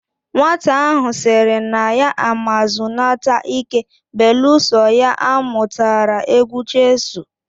Nwata ahu siri na ya ama zunata ike beeluso ya amutara egwu cheesuu